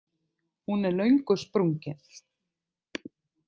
Hún er löngu sprungin.